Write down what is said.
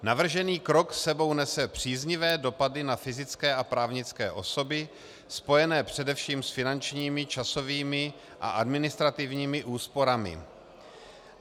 Navržený krok s sebou nese příznivé dopady na fyzické a právnické osoby spojené především s finančními, časovými a administrativními úsporami.